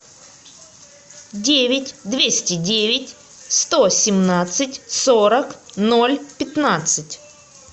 девять двести девять сто семнадцать сорок ноль пятнадцать